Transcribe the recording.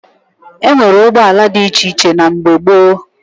E nwere ụgbọala dị iche iche na mgbe gboo